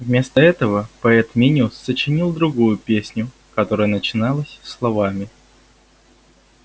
вместо этого поэт минимус сочинил другую песню которая начиналась словами